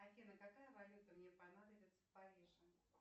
афина какая валюта мне понадобится в париже